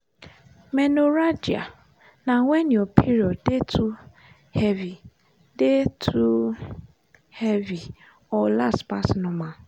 menorrhagia na when your period dey too heavy dey too heavy or last pass normal.